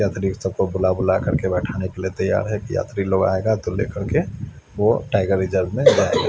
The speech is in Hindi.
यात्री सबको बुला बुला करके बैठाने के लिए तैयार है कि यात्री लोग आएगा तो लेकर के वो टाइगर रिजर्व में जाएगा।